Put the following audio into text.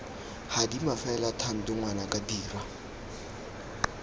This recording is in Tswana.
gadima fela thando ngwanaka dira